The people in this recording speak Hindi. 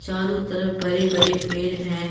चारों तरफ बड़े बड़े पेड़ हैं।